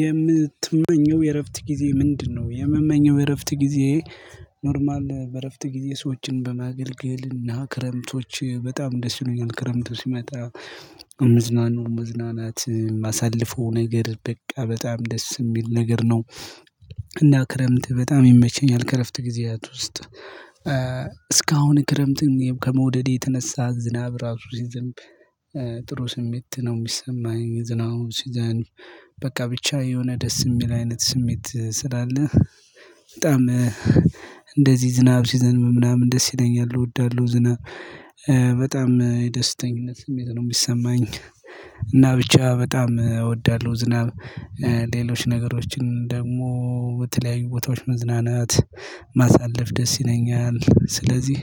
የምትመኘው የእረፍት ጊዜ ምንድነው? የምመኘው የእረፍት ጊዜየ። ኖርማል በእረፍት ጊዜ ሰዎችን በማገልገልና ክረምቶች በጣም ደስ ይሉኛል ክረምቱ ሲመጣ። መዝናኑ መዝናናት ማሳልፈው ነገር በቃ በጣም ደስ ሚል ነገር ነው። እና ክረምት በጣም ይመቸኛል ከእረፍት ጊዝያት ውስጥ። እስካሁን ክረምትን ከመውደዴ የተነሳ ዝናብ ራሱ ሲዘንብ ጥሩ ስሜት ነው ሚሰማኝ ዝናቩ ሲዘንብ። በቃ ብቻ የሆነ ደስ እሚል አይነት ስሜት ስላለ። በጣም እንደዚህ ዝናብ ሲዘንብ ምናምን ደስ ይለኛል እወዳለሁ። ዝናብ በጣም የደስተኝነት ስሜት ነው ሚሰማኝ። እና ብቻ በጣም እወዳለሁ ዝናብ ሌሎች ነገሮችን ደግሞ በተለያዩ ቦታዎች መዝናናት ማሳለፍ ደስ ይለኛል። ስለዚህ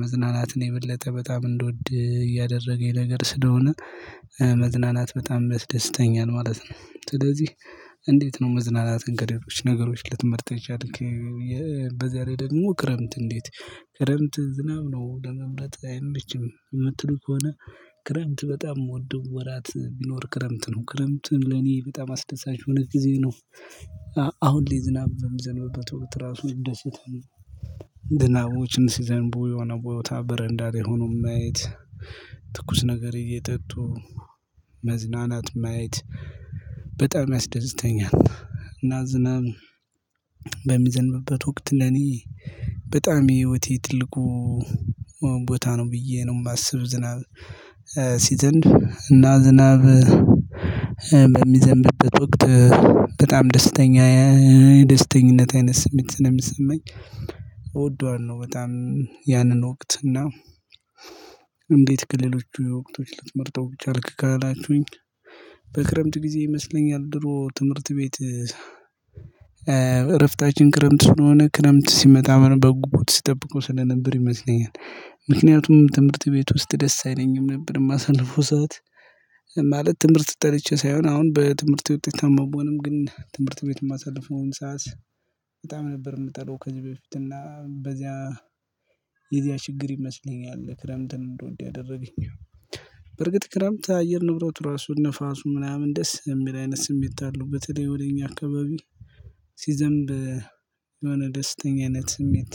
መዝናናትን የበለጠ በጣም እንድወድ ያደረገኝ ነገር ስለሆነ። መዝናናት በጣም ያስደስተኛል ማለት ነው። ስለዚህ እንዴት ነው መዝናናትን ከሌሎች ነገሮች ልትመርጥ የቻልክ? በዚያ ላይ ደግሞ ክረምት እንዴት ክረምት ዝናብ ነው ለመምረጥ አይመችም እምትሉ ከሆነ? ክረምት በጣም ምወደው ወራት ቢኖር ክረምት ነው ክረምትን ለኔ በጣም አስደሳች የሆነ ጊዜ ነው። አሁን ላይ ዝናብ በሚዘነብበት ወቅት ራሱ እንደስታለን። ዝናቦችን ሲዘንቡ የሆነ ቦታ በረንዳ ላይ ሆኖ ማየት ትኩስ ነገር እየጠጡ መዝናናት ማየት። በጣም ያስደስተኛል። እና ዝናብ በሚዘንብበት ወቅት ለኒ በጣም የህይወቴ ትልቁ ቦታ ነው ብዬ ነው የማስብ። ዝናብ ሲዘንብ እና ዝናብ በሚዘንብበት ወቅት በጣም ደስተኛ ደስተኝነት አይነት ስሜት ስለ የሚሰማኝ። እወደዋለሁ ነው በጣም ያንን ወቅት እና። እንዴት ክልሎቹ ወቅቶች ልትመርጠው ቻልክ ካላቹኝ? በክረምት ጊዜ ይመስለኛል ድሮ ትምህርት ቤት እረፍታችን ክረምት ስለሆነ ክረምት ሲመጣ ምን በጉጉት ሲጠብቁ ስለነበር ይመስለኛል። ምክንያቱም ትምህርት ቤት ውስጥ ደስ አይለኝም ነበር የማሳልፈው ሰዓት። ማለት ትምህርት ጠልቼ ሳይሆን አሁን በትምህርት ውጤት አልጓጓንም ግን ትምህርት ቤት የማሳልፈውን ሰዓት። በጣም ነበር የምጠላው ከዚህ በፊት እና በዚያ። የዚያ ችግር ይመስለኛል ክረምትን እንደወደው ያደረገኝ። በርግጥ ክረምት አየር ንብረቱ ራሱን ንፋሱ ምናምን ደስ የሚል አይነት ስሜት አለው በተለይ ወደ እኛ አካባቢ። ሲዘንብ። የሆነ ደስተኛ አይነት ስሜት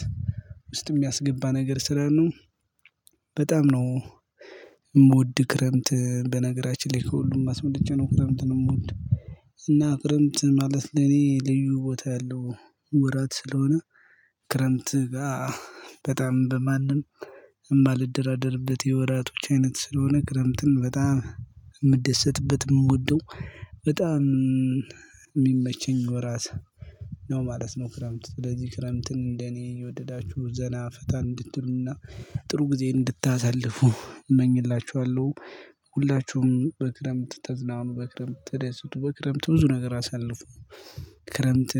ውስጥ የሚያስገባ ነገር ስለሆነ ነው። በጣም ነው። የምወድ ክረምት በነገራችን ላይ ከሁሉም አስበልጬ ነው ክረምትን የምወደው። እና ክረምት ማለት ለኔ ልዩ ቦታ ያለው ወራት ስለሆነ። ክረምት ጋር በጣም በማንም እምባ ልደራደርበት የወራቶች አይነት ስለሆነ ክረምትን በጣም የምደሰትበት የምወደው በጣም የሚመቸኝ ወራት ነው ማለት ነው። ክረምት ስለዚህ ክረምትን እንደኔ የወደዳችሁ ዘና ፍታ እንድትሉና ጥሩ ጊዜ እንድታሳልፉ እመኝላችኋለሁ። ሁላችሁም በክረምት ተዝናኑ በክረምት ተደሰቱ በክረምት ብዙ ነገር አሳልፎ ክረምት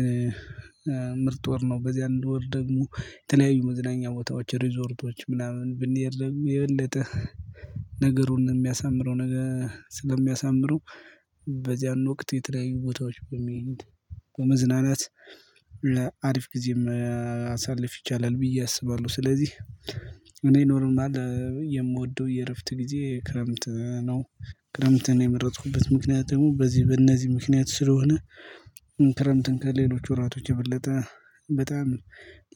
ምርጥ ወር ነው። በዚህ አንድ ወር ደግሞ የተለያዩ መዝናኛ ቦታዎች ሪዞርቶች ምናምን ብንሄድ ደግሞ የበለጠ ነገሩን የሚያሳምረው ነገር ስለሚያሳምረው። በዚያን ወቅት የተለያዩ ቦታዎች በመሄድ በመዝናናት አሪፍ ጊዜም ማሳለፍ ይቻላል ብዬ አስባለሁ። ስለዚህ እኔ ኖርማል የምወደው የእረፍት ጊዜ ክረምት ነው። ክረምትን የመረጥኩበት ምክንያት ደግሞ በዚህ በእነዚህ ምክንያት ስለሆነ። ክረምትን ከሌሎች ወራቶች የበለጠ በጣም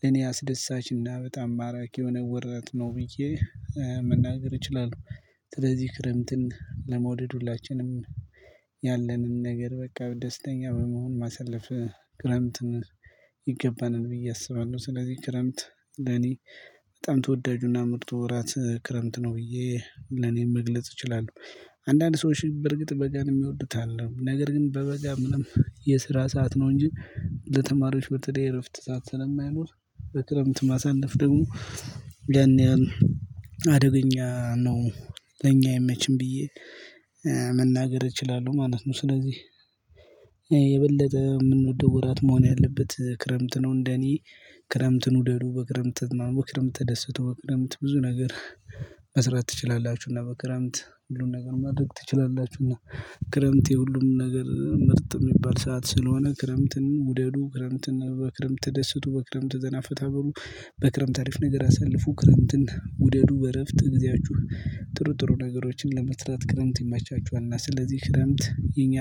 ለኔ አስደሳች እና በጣም ማራኪ የሆነ ወራት ነው ብዬ መናገር እችላለሁ። ስለዚህ ክረምትን ለመውደድ ሁላችንም ያለንን ነገር በቃ ደስተኛ በመሆን ማሳለፍ ክረምት ይገባናል ብዬ አስባለሁ። ስለዚህ ክረምት ለኔ በጣም ተወዳጁና ምርጡ ወራት ክረምት ነው ብዬ ለኔ መግለጽ እችላለሁ። አንዳንድ ሰዎች በርግጥ በጋን የሚወዱት አለ ነገር ግን በበጋ ምንም የስራ ሰዓት ነው እንጂ ለተማሪዎች በተለይ እረፍት ሰዓት ስለማይኖር በክረምት ማሳለፍ ደግሞ ያን ያህል አደገኛ ነው። ለኛ ኣይመችም ብዬ መናገር እችላለሁ ማለት ነው። ስለዚህ የበለጠ የምንወደው ወራት መሆን ያለበት ክረምት ነው እንደኔ። ክረምትን ውደዱ በክረምት ማሞክም ተደስቶ ክርምት ብዙ ነገር መስራት ትችላላችሁና በክርምት ሁሉን ነገር ማድረግ ትችላላችሁ። እና ክረምት የሁሉም ነገር ምርጥ የሚባል ሰዓት ስለሆነ። ክረምትን ውደዱ ክረምትን በክረምት ተደስቶ በክረምት ዘና ፈታ በሉ። በክረምት አሪፍ ነገር አሳልፉ ክረምትን ውደዱ። በእረፍት ግዚአችሁ ጥሩ ጥሩ ነገሮችን ለመስራት ክረምት ይመቻችኋል። እና ስለዚህ ክረምት የኛ